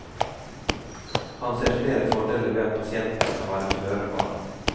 Han ser flere fordeler ved at pasienten kan være føre var.